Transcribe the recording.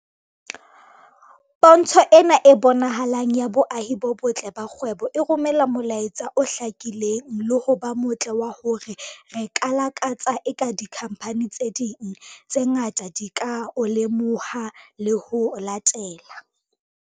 "Pontsho ena e bonahalang ya boahi bo botle ba kgwebo e romela molaetsa o hlakileng le ho ba motle wa hore re lakatsa eka dikhamphani tse ding tse ngata di ka o lemoha le ho o latela."